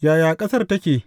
Yaya ƙasar take?